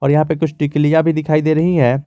और यहां पे कुछ टिकलिया भी दिखाई दे रही है।